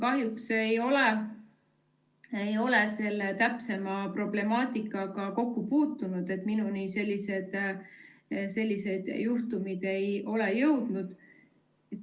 Kahjuks ei ole ma selle täpsema problemaatikaga kokku puutunud, minuni sellised juhtumid ei ole jõudnud.